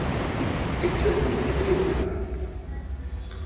icebo maliye kulandwa